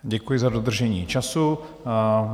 Děkuji za dodržení času.